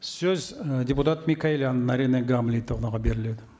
сөз і депутат микаэлян наринэ гамлетовнаға беріледі